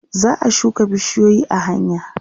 za'a shuka bishiyoyi a hanya